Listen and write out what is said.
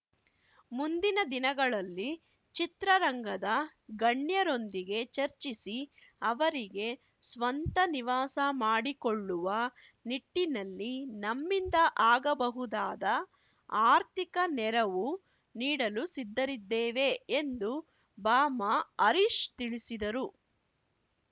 ಮುಂದಿನ ದಿನಗಳಲ್ಲಿ ಚಿತ್ರರಂಗದ ಗಣ್ಯರೊಂದಿಗೆ ಚರ್ಚಿಸಿ ಅವರಿಗೆ ಸ್ವಂತ ನಿವಾಸ ಮಾಡಿಕೊಳ್ಳುವ ನಿಟ್ಟಿನಲ್ಲಿ ನಮ್ಮಿಂದ ಆಗಬಹುದಾದ ಆರ್ಥಿಕ ನೆರವು ನೀಡಲು ಸಿದ್ಧರಿದ್ದೇವೆ ಎಂದು ಬಾಮಾ ಹರೀಶ್‌ ತಿಳಿಸಿದರು